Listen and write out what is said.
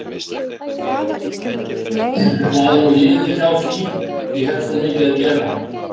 En það er nú liðið hjá því ég hefi svo mikið að gera.